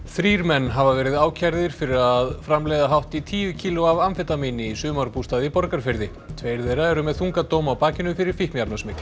þrír menn hafa verið ákærðir fyrir að framleiða hátt í tíu kíló af amfetamíni í sumarbústað í Borgarfirði tveir þeirra eru með þunga dóma á bakinu fyrir